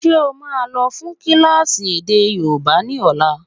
Ṣé ó máa lọ fún kílásì èdè yóòbá ni ọ̀la?